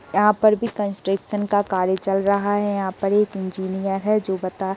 यहाँ पर भी कंस्ट्रक्शन का कार्य चल रहा है। यहाँ पर एक इंजीनियर है जो बता --